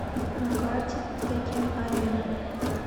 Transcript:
на карте теккен арена